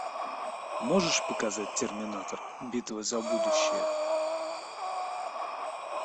можешь показать терминатор битва за будущее